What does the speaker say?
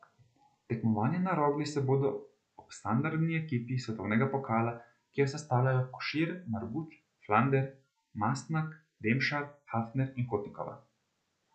Tekmovanja na Rogli se bodo ob standardni ekipi svetovnega pokala, ki jo sestavljajo Košir, Marguč, Flander, Mastnak, Demšar, Hafner in Kotnikova.